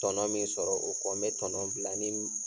Tɔnɔ min sɔrɔ o kɔ, n bɛ tɔnɔ bila ni.